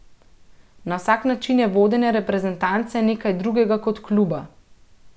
Na vsak način je vodenje reprezentance nekaj drugega kot kluba.